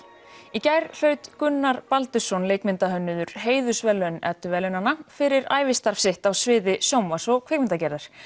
í gær hlaut Gunnar Baldursson leikmyndahönnuður heiðursverðlaun edduverðlaunanna fyrir ævistarf sitt á sviði sjónvarps og kvikmyndagerðar